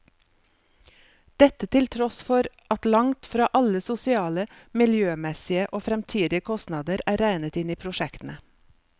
Dette til tross for at langt fra alle sosiale, miljømessige og fremtidige kostnader er regnet inn i prosjektene.